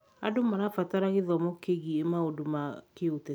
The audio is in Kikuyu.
Andũ marabatara gĩthomo kĩgiĩ maũndũ ma kĩũteti.